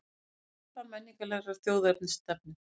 Upphaf menningarlegrar þjóðernisstefnu